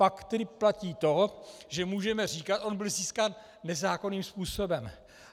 Pak tedy platí to, že můžeme říkat: on byl získán nezákonným způsobem.